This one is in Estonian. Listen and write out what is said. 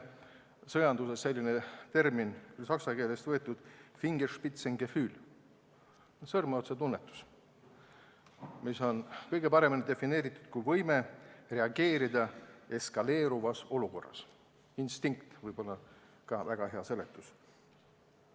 Sõjanduses on selline termin – saksa keelest võetud – nagu Fingerspitzengefühl ehk sõrmeotsatunnetus, mida on kõige parem defineerida võimena reageerida eskaleeruvas olukorras, ka instinkt võib olla väga hea seletus.